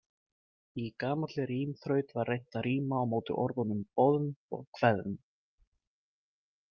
Í gamalli rímþraut var reynt að ríma á móti orðunum Boðn og Hveðn.